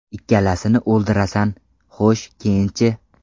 Ikkalasini o‘ldirasan, xo‘sh keyinchi?